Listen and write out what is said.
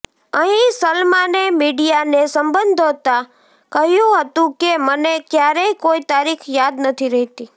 અહીં સલમાને મિડીયાને સંબોધતાં કહ્યું હતું કે મને ક્યારેય કોઇ તારીખ યાદ નથી રહેતી